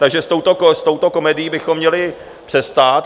Takže s touto komedií bychom měli přestat.